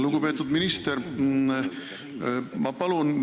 Lugupeetud minister!